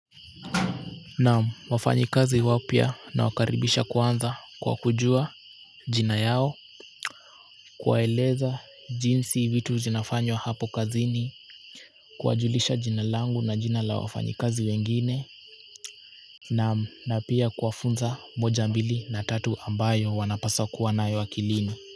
Naam wafanyi kazi wapya na wakaribisha kwanza kwa kujua jina yao kuwaeleza jinsi vitu zinafanywa hapo kazini kuwajulisha jina langu na jina la wafanyikazi wengine na pia kuwafunza moja mbili na tatu ambayo wanapasa kuwanayo akilini.